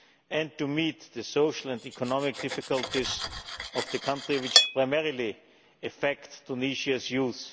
and to meet the social and economic difficulties of the country, which primarily affect Tunisia's youth.